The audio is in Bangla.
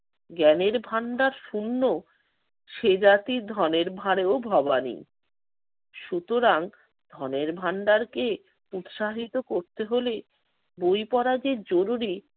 জ্ঞানের ভান্ডার শূন্য সে জাতি ধনের ভারেও ভবানী। সুতরাং ধনের ভান্ডারকে উৎসাহিত করতে হলে বই পড়া যে জরুরি